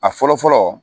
A fɔlɔ fɔlɔ